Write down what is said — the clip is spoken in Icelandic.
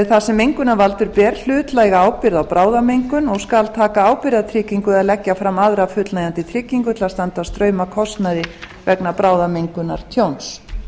þar sem mengunarvaldur ber hlutlæga ábyrgð á bráðamengun og skal taka ábyrgðartryggingu eða leggja fram aðra fullnægjandi tryggingu til að standa straum af kostnaði vegna bráðamengunartjóns